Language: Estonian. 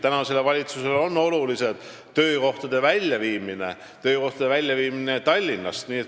Tänasele valitsusele on oluline töökohtade väljaviimine Tallinnast.